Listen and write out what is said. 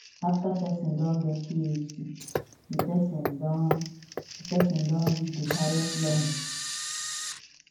after person don get phd di person don di person don reach di higest learning